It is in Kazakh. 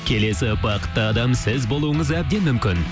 келесі бақытты адам сіз болуыңыз әбден мүмкін